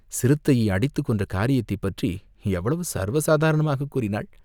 சிறுத்தையை அடித்துக் கொன்ற காரியத்தைப் பற்றி எவ்வளவு சர்வசாதாரணமாகக் கூறினாள்?